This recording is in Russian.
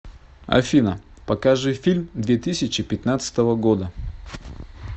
афина покажи фильм две тысячи пятнадцатого года